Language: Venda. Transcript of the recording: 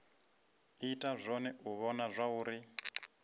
ita zwone u vhona zwauri